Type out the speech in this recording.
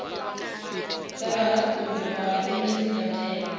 dza muhatuli vhahatuli dzi badelwa